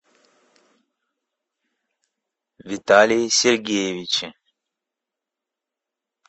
виталии сергеевиче